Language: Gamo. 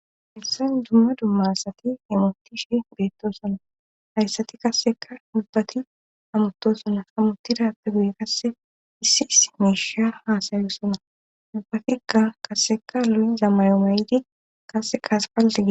issan dumma dummassati himutishi beettosona hayssati kasseka mubbati amuttosana ammuti daatta guye kasse issi issi meisha haasayyosuna dubbatekka kasseka loli zamayo mayidi kasse kaase paaltege